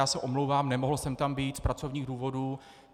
Já se omlouvám, nemohl jsem tam být z pracovních důvodů.